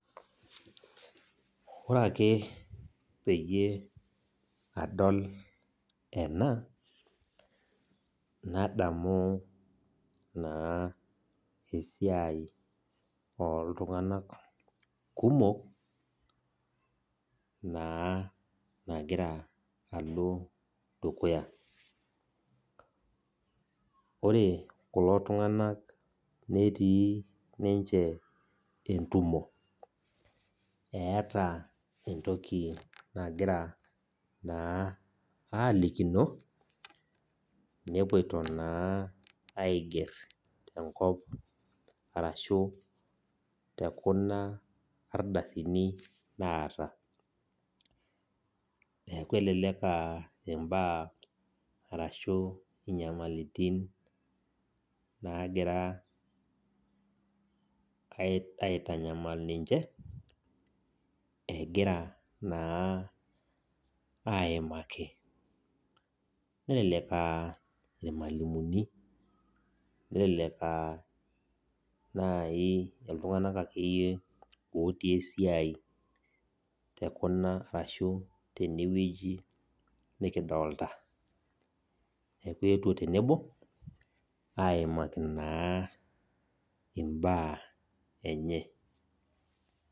Ore ake peyie adol ena nadamu naa esiai olltunganak kumok naloito dukuya. Ore kulo tunganak netii ninche entumo eeta niche enaimakita nepoito naa aigerr enkop tekuna ardasini naata. Elelek aa inyamalaritin naagira aitanyamal ninche egira aimaik. Eidimayu naa irmwalimuni ashuu iltunganak ootii esia te kuna garrin nikidolita.